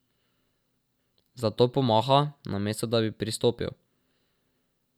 Zato pomaha, namesto da bi pristopil.